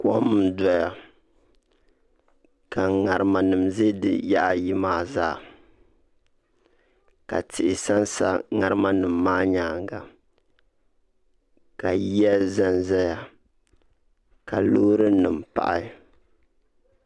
Kom n doya ka ŋarima nim ʒɛ di yaɣa ayi maa zaa ka tihi sansa ŋarima nim maa nyaanga ka yiya ʒɛnʒɛya ka loori nim pahi